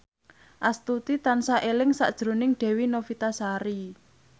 Astuti tansah eling sakjroning Dewi Novitasari